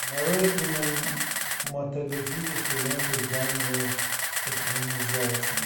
нарой кинематографическую ленту жанра экранизация